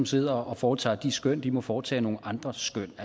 sidder og foretager de skøn må foretage nogle andre skøn